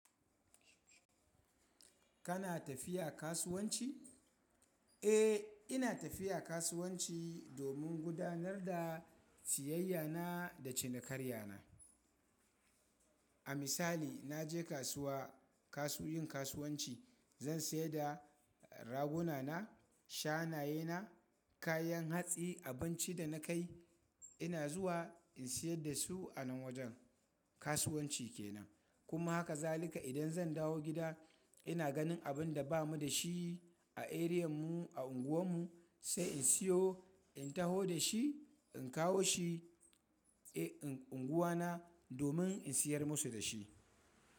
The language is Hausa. Kana tafiya kasuwanci? Eh, ina tafiya kasuwanci domin gudanar da siyayya na da cinikarya na. A misali, na je kasuwa, kasu yin kasuwanci. Zan sayar da raguna na, shanayena, kayan hatsi, abinci da na kai. Ina zuwa in sayar da su a wajen kasuwanci kenan. Kuma haka zalika idan zan dawo gida ina ganin abin da ba mu da shi a eriyan mu a unguwan mu sai in siyo, in taho da shi in kawo shi a unguwa na domin in siyar musu da shi.